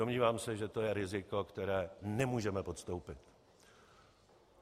Domnívám se, že to je riziko, které nemůžeme podstoupit.